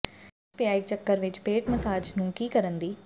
ਮੰਜੇ ਵਿੱਚ ਪਿਆ ਇੱਕ ਚੱਕਰ ਵਿੱਚ ਪੇਟ ਮਸਾਜ ਨੂੰ ਕੀ ਕਰਨ ਦੀ